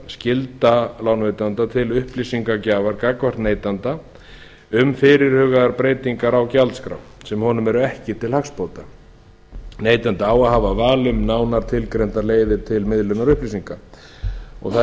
skylda lánveitanda til upplýsingagjafar gagnvart neytanda um fyrirhugaðar breytingar á gjaldskrá sem honum eru ekki til hagsbóta neytandi á að hafa val um nánar tilgreindar leiðir til miðlunar upplýsinga það eru